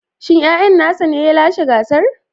Shin yayan nasa ne ya lashe gasar?